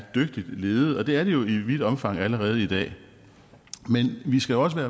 dygtigt ledet og det er de jo i vidt omfang allerede i dag men vi skal også være